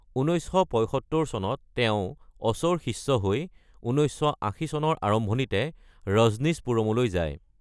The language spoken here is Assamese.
১৯৭৫ চনত তেওঁ অছ’ৰ শিষ্য হৈ ১৯৮০ চনৰ আৰম্ভণিতে ৰজনীশপুৰমলৈ যায়।